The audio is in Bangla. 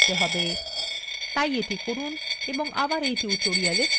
তাই এটি করুন do আবার এই tutorial ফিরে আসুন